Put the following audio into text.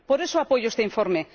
Por eso apoyo este informe.